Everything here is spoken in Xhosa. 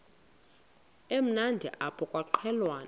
emnandi apha kwaqhelwana